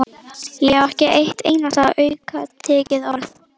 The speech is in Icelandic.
Ég á ekki eitt einasta aukatekið orð!